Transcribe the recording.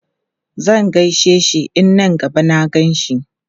Zan gaishe shi in na gaba na gan shi.